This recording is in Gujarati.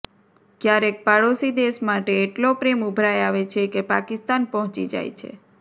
ક્યારેક પાડોશી દેશ માટે એટલો પ્રેમ ઉભરાઇ આવે છે કે પાકિસ્તાન પહોંચી જાય છે